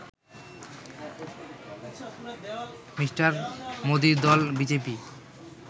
Me. মোদীর দল BJP